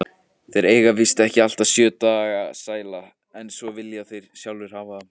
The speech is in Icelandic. Þeir eiga víst ekki alltaf sjö dagana sæla, en svona vilja þeir sjálfir hafa það.